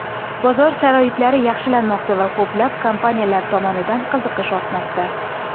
Bozor sharoitlari yaxshilanmoqda, va ko‘plab kompaniyalar tomonidan qiziqish ortmoqda.